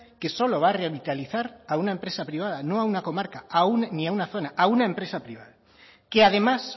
que solo va a revitalizar a una empresa privada no a una comarca ni a una zona a una empresa privada que además